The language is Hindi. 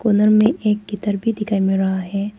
उधर में एक गिटार भी दिखाई दे रहा है।